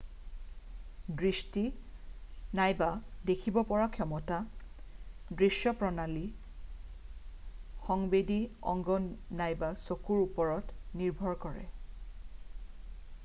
দৃষ্টি নাইবা দেখিব পৰা ক্ষমতা দৃশ্য প্ৰণালী সংবেদী অংগ নাইবা চকুৰ ওপৰত নিৰ্ভৰ কৰে